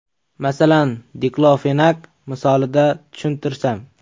Masalan, diklofenak misolida tushuntirsam.